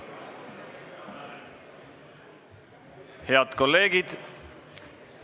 Head kolleegid!